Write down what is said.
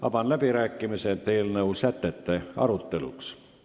Avan läbirääkimised eelnõu sätete aruteluks.